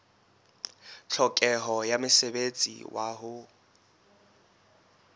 tlhokeho ya mosebetsi wa ho